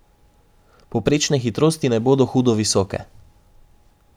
Povprečne hitrosti ne bodo hudo visoke.